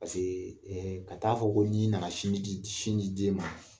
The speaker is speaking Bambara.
ka ta'a fɔ ko ni nana sinji di den ma